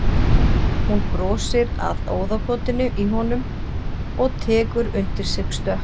Hún brosir að óðagotinu í honum og tekur undir sig stökk.